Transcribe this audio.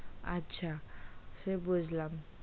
আচ্ছা সে বুঝলাম,